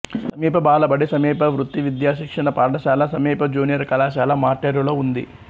సమీప బాలబడి సమీప వృత్తి విద్యా శిక్షణ పాఠశాల సమీప జూనియర్ కళాశాల మార్టేరులో ఉంది